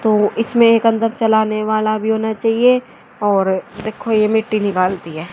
तो इसमें एक अंदर चलाने वाला भी होना चाहिए और देखो यह मिट्टी निकालती है।